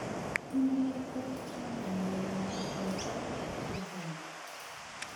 Inye koi chamanenyu ne po koigeny.